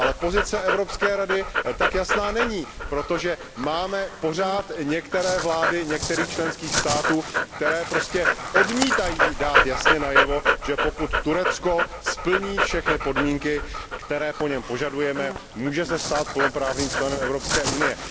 Pozice Evropské rady tak jasná není, protože máme pořád některé vlády některých členských států, které prostě odmítají dát jasně najevo, že pokud Turecko splní všechny podmínky, které po něm požadujeme, může se stát plnoprávným členem Evropské unie.